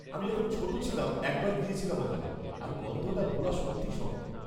-আমি যখন ছোট ছিলাম একবার গিয়েছিলাম ওখানে, আর গন্ধটা ভোলা সত্যি শক্ত।